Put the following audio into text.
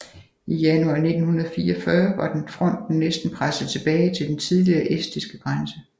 I januar 1944 var den fronten næsten presset tilbage til den tidligere estiske grænse